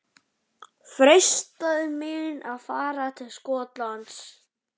Freistaði mín að fara til Skotlands?